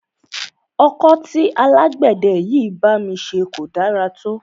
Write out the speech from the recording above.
Ọkọ́ tí alágbẹ̀dẹ yìí bá mi ṣe kò da rárá.